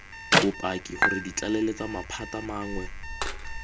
bopaki gore dtlaleletsa maphata mangwe